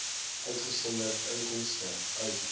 uitgesonderd inkomste uit